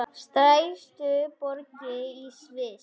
Stærstu borgir í Sviss